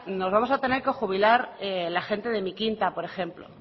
nos vamos a tener que jubilar la gente de mi quinta por ejemplo